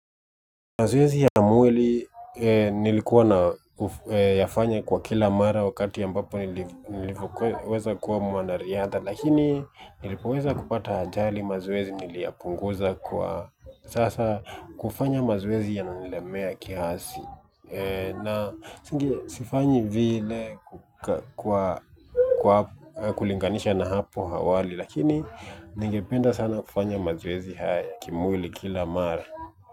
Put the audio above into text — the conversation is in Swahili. Mazoezi ya mwili nilikuwa nayafanya kwa kila mara wakati ambapo nilivyoweza kuwa mwana riadha lakini nilipoweza kupata ajali mazoezi niliyapunguza, kwa sasa kufanya mazoezi yananilemea kiasi na singe sifanyi vile kwa kwa kulinganisha na hapo awali lakini ningependa sana kufanya mazoezi haya ya kimwili kila mara.